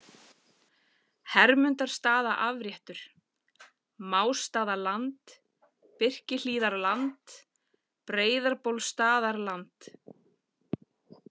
Hermundarstaðaafréttur, Másstaðaland, Birkihlíðarland, Breiðabólsstaðarland